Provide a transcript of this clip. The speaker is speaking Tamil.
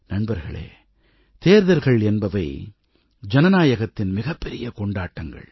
நண்பர்களே தேர்தல்கள் என்பவை ஜனநாயகத்தின் மிகப் பெரிய கொண்டாட்டங்கள்